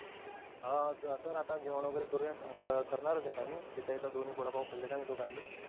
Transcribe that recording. हो अस अत्ता जेवण वगेरे करूया करणारच आहे मी, हित्त हित्त दोनी वडापाव खालेलो आहे दोगांनी.